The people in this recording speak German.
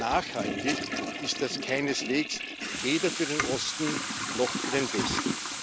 Nachhaltig ist das keineswegs, weder für den Osten noch für den Westen.